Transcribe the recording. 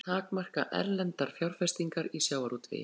Vilja takmarka erlendar fjárfestingar í sjávarútvegi